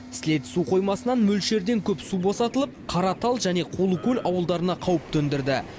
сілеті су қоймасынан мөлшерден көп су босатылып қаратал және қулыкөл ауылдарына қауіп төндірді